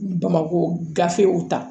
Bamakɔ gafew ta